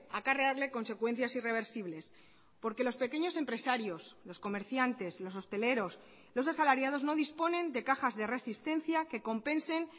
acarrearle consecuencias irreversibles porque los pequeños empresarios los comerciantes los hosteleros los asalariados no disponen de cajas de resistencia que compensen